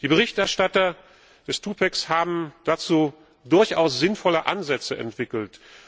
Die Berichterstatter des Twopacks haben dazu durchaus sinnvolle Ansätze entwickelt.